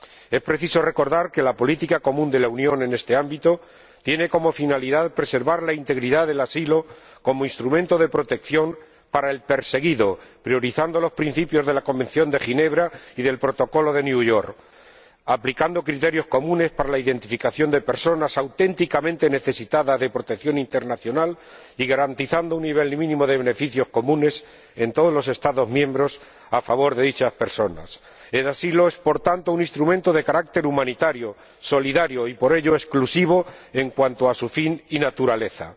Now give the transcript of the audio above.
Es preciso recordar que la política común de la Unión en este ámbito tiene como finalidad preservar la integridad del asilo como instrumento de protección para el perseguido, priorizando los principios de la Convención de Ginebra y del Protocolo de Nueva York, aplicando criterios comunes para la identificación de personas auténticamente necesitadas de protección internacional y garantizando un nivel mínimo de beneficios comunes en todos los Estados miembros a favor de dichas personas. El asilo es, por tanto, un instrumento de carácter humanitario, solidario y, por ello, exclusivo en cuanto a su fin y su naturaleza.